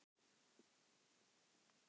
En hvað var það sem gerði Giggs svona reiðan?